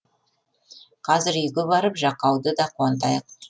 қазір үйге барып жақауды да қуантайық